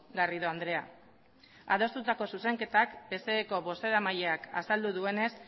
garrido andrea adostutako zuzenketak pseko bozeramaileak azaldu duenez